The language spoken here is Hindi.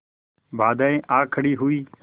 बाधाऍं आ खड़ी हुई